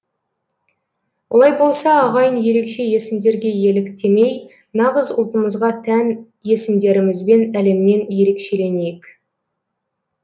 олай болса ағайын ерекше есімдерге еліктемей нағыз ұлтымызға тән есімдерімізбен әлемнен ерекшеленейік